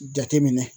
Jateminɛ